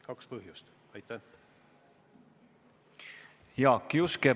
Jaak Juske, palun!